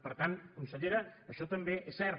per tant consellera això també és cert